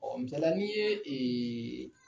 Ɔ misalila n'i ye ee